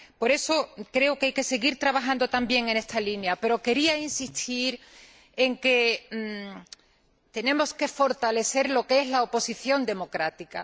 Por eso, creo que hay que seguir trabajando también en esta línea. Pero quería insistir en que tenemos que fortalecer la oposición democrática